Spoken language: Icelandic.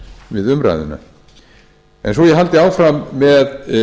við umræðuna svo ég haldi áfram með